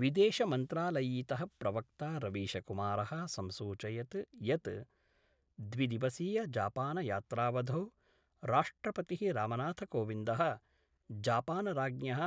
विदेश मन्त्रालयीयः प्रवक्ता रवीशकुमारः संसूचयद् यद् द्विदिवसीयजापानयात्रावधौ राष्ट्रपतिः रामनाथकोविन्दः जापानराज्ञः